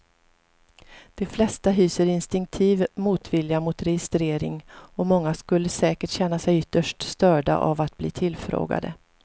De flesta hyser instinktiv motvilja mot registrering och många skulle säkert känna sig ytterst störda av att bli tillfrågade.